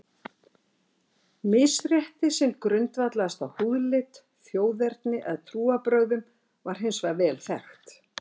Misrétti sem grundvallaðist á húðlit, þjóðerni eða trúarbrögðum var hins vegar vel þekkt.